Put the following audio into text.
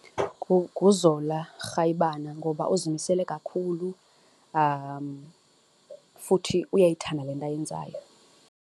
NguZola Rayibana ngoba uzimisele kakhulu futhi uyayithanda le nto ayenzayo.